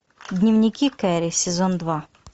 дневники кэрри сезон два